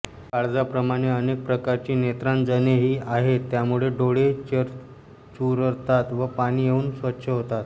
काजळाप्रमाणे अनेक प्रकारची नेत्रांजनेही आहेत त्यामुळे डोळे चुरचुरतात व पाणी येऊन स्वच्छ होतात